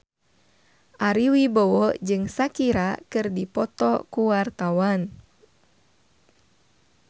Ari Wibowo jeung Shakira keur dipoto ku wartawan